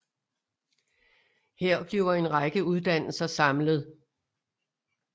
Her bliver en række uddannelser samlet